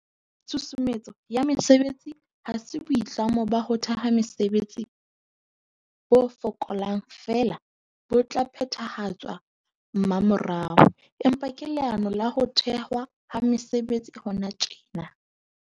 Tshusumetso ya mesebetsi ha se boitlamo ba ho theha mesebetsi bo fokaelang feela bo tla phethahatswa mmamorao, empa ke leano la ho thehwa ha mesebetsi hona tjena.